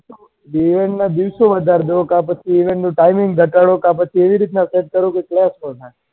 event ના દિવસો વધારો કા તો timing ઓછી કરો આવી રીતે કરો કે ના થાય